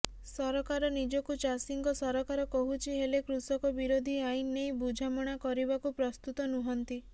ସରକାର ନିଜକୁ ଚାଷୀଙ୍କ ସରକାର କହୁଛି ହେଲେ କୃଷକ ବିରୋଧୀ ଆଇନ ନେଇ ବୁଝାମଣା କରିବାକୁ ପ୍ରସ୍ତୁତ ନୁହନ୍ତି